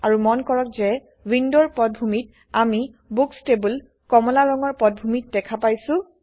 আৰু মন কৰক যে ৱিন্দোৰ পটভূমিত আমি বুক্স টেবোল কমলা ৰঙৰ পটভূমিত দেখা পাইছো